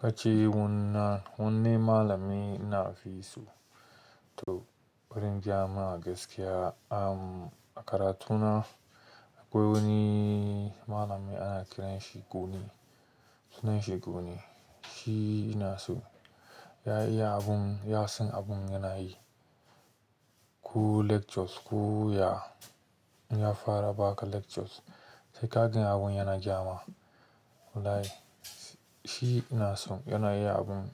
Kace wannan, wanne malami ina fi so? To wurin gyama gaskiya am, a karatuna akwai wani malami ana kiran shi guni, sunan shi guni. Shi ina so, ya iya abun, ya san abun yana yi. Ko lectures ko ya, in ya fara ba ka lectures sai ka gani abun yana gyama. Wallahi shi ina so, yana iya abun,